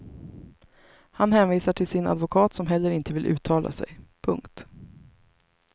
Han hänvisar till sin advokat som heller inte vill uttala sig. punkt